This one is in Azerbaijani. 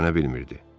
Geri dönə bilmirdi.